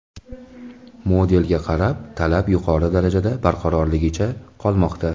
Modelga bo‘lgan talab yuqori darajada barqarorligicha qolmoqda.